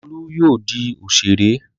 Olú yóò di òṣèré!